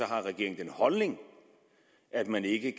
regeringen den holdning at man ikke